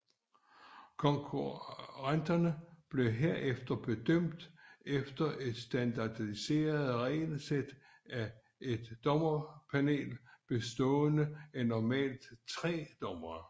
Konkurrenterne bliver herefter bedømt efter et standardiseret regelsæt af et dommerpanel bestående af normalt tre dommere